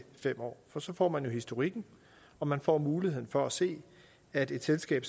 fem år for så får man historikken og man får muligheden for at se at et selskab